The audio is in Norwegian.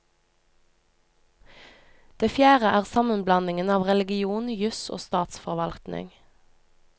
Det fjerde er sammenblandingen av religion, jus og statsforvaltning.